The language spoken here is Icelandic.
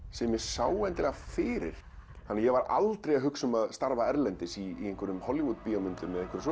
sem ég sá fyrir ég var aldrei að hugsa um að starfa erlendis í Hollywood myndum